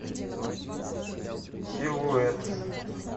силуэт